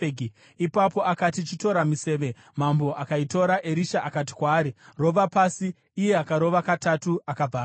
Ipapo akati, “Chitora miseve,” mambo akaitora. Erisha akati kwaari, “Rova pasi,” iye akarova katatu akabva amira.